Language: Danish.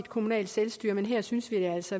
kommunale selvstyre men her synes vi altså